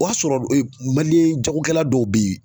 O y'a sɔrɔ jagokɛla dɔw bɛ yen.